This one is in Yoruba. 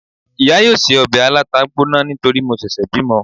iya yóò se òbè alatá gboná nítorí mo sèsè bimò